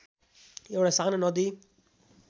एउटा सानो नदी